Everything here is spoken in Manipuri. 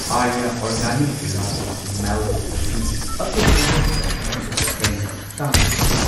ꯑꯥꯔꯌꯥ ꯑꯣꯔꯒꯥꯅꯤꯛ ꯔꯥꯒꯤ ꯃꯦꯜꯠ ꯑꯁꯤ ꯑꯇꯣꯞꯄ ꯋꯦꯕꯁꯥꯏꯠꯇꯒꯤ ꯍꯦꯟꯅ ꯇꯥꯡꯕ ꯊꯦꯡꯅꯩ꯫